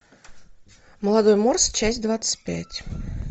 молодой морс часть двадцать пять